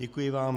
Děkuji vám.